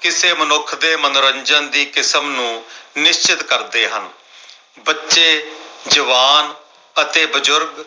ਕਿਸੇ ਮਨੁੱਖ ਦੇ ਮਨੋਰੰਜਨ ਦੀ ਕਿਸਮ ਨੂੰ ਨਿਸ਼ਚਤ ਕਰ ਦੇ ਹਾਂ ।ਬੱਚੇ, ਜਵਾਨ ਅਤੇ ਬਜ਼ੁਰਗ